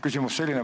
Küsimus selline.